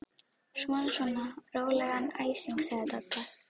Svona svona, rólegan æsing sagði Dadda.